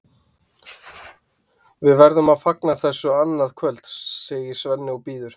Við verðum að fagna þessu annað kvöld, segir Svenni og býður